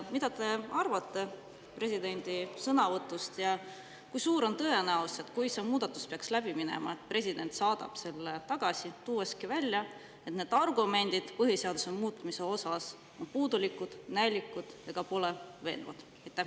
Mida te arvate presidendi sõnavõtust ja kui suur on tõenäosus, et kui see muudatus peaks läbi minema, siis president saadab selle tagasi, tuues välja, et need põhiseaduse muutmise argumendid on puudulikud, näilikud ega ole veenvad?